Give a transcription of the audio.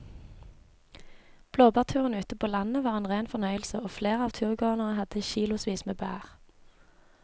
Blåbærturen ute på landet var en rein fornøyelse og flere av turgåerene hadde kilosvis med bær.